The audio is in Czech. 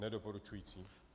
Nedoporučující.